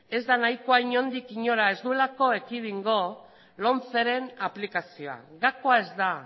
ez da nahikoa inondik inola ez duelako ekidingo lomceren aplikazioa gakoa ez da